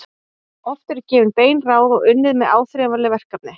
Oft eru gefin bein ráð og unnið með áþreifanleg verkefni.